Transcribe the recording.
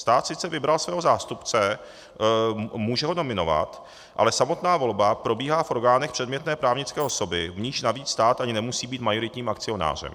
Stát sice vybral svého zástupce, může ho nominovat, ale samotná volba probíhá v orgánech předmětné právnické osoby, v níž navíc stát ani nemusí být majoritním akcionářem.